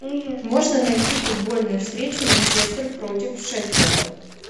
можно найти футбольную встречу манчестер против шеффилда